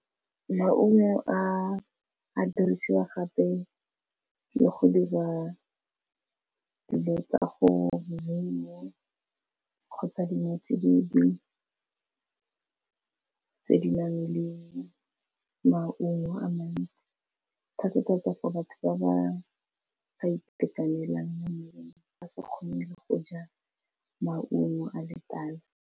Maungo a dirisiwa gape le go dira dilo tsa gore kgotsa dinotsididi, tse di nang le maungo a mantsi thata thata gore batho ba ba sa itekanelang mo mmeleng ba sa kgone go ja maungo a .